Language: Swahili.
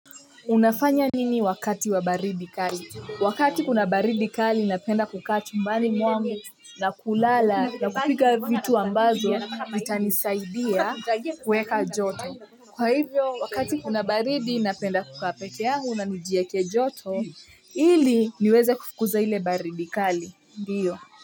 Unafanya nini wakati wa baridi kali? Wakati kuna baridi kali, napenda kukaa chumbani mwangu na kulala na kupika vitu ambazo, itanisaidia kuweka joto. Kwa hivyo, wakati kuna baridi, napenda kukaa peke yangu na njieke joto, ili niweze kufukuza ile baridi kali, ndiyo.